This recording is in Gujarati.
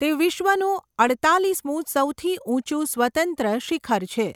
તે વિશ્વનું અડતાલીસમું સૌથી ઊંચું સ્વતંત્ર શિખર છે.